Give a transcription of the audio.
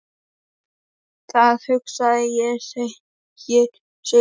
Það hugsa ég, segir Sigrún.